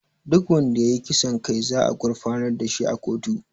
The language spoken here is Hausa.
Duk wanda ya yi kisan kai za a gurfanar da shi a kotu